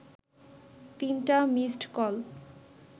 তিনটা missed call